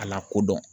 A lakodɔn